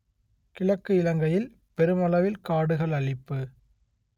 கிழக்கு இலங்கையில் பெருமளவில் காடுகள் அழிப்பு